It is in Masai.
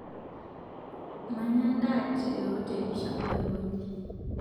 Manyaa ndaa teoteli shapu aikonyi